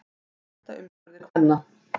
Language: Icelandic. Hætta umskurði kvenna